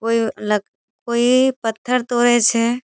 कोई लोक कोई पत्थर तोड़े छे।